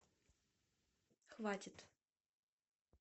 хватит